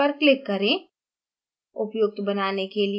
start button पर click करें